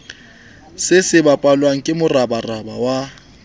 se sebapallwa ke moraparapa wa